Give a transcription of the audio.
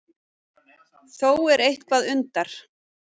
Þó er eitthvað undar